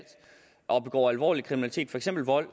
og begår alvorlig kriminalitet for eksempel vold